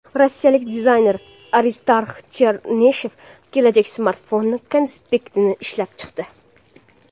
Rossiyalik dizayner Aristarx Chernishev kelajak smartfoni konseptini ishlab chiqdi.